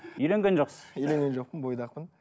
үйленген жоқсыз үйленген жоқпын бойдақпын